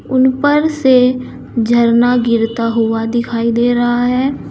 उन पर से झरना गिरता हुआ दिखाई दे रहा है।